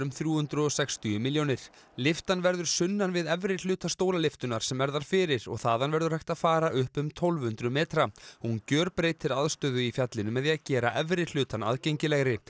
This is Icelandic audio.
þrjú hundruð og sextíu milljónir lyftan verður sunnan við efri hluta stólalyftunnar sem er þar fyrir og þaðan verður hægt að fara upp um tólf hundruð metra hún gjörbreytir aðstöðu í fjallinu með því að gera efri hlutann aðgengilegri